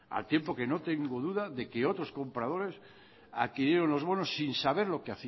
al tiempo de que no tengo duda de que otros compradores adquirieron los bonos sin saber lo que